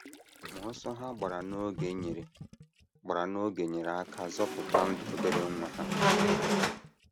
Ma ọsọ ha gbara n’oge nyere gbara n’oge nyere aka zọpụta ndụ obere nwa ha.